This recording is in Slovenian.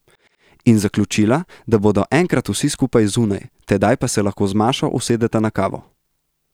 In zaključila, da bodo enkrat vsi skupaj zunaj, tedaj pa se lahko z Mašo usedeta na kavo...